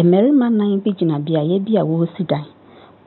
Mmarima nnan bi gyina beaeɛ bi a wɔresi dan,